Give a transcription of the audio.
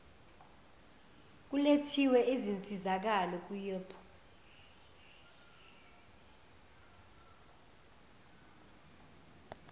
kulethwe izinsizakalo kuyop